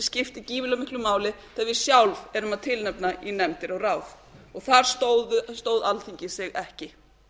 skipta gífurlega miklu máli þegar við sjálf erum að tilnefna í nefndir og ráð og þar stóð alþingi sig ekki